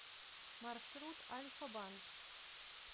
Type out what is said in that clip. маршрут альфа банк